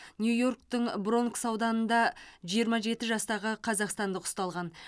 нью йорктің бронкс ауданында жиырма жеті жастағы қазақстандық ұсталған